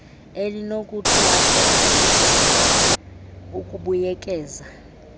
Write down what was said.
elinokuthathwa siso ukubuyekeza